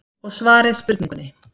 Og svarið spurningunni